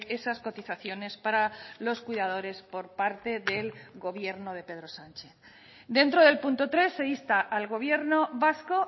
esas cotizaciones para los cuidadores por parte del gobierno de pedro sánchez dentro del punto tres se insta al gobierno vasco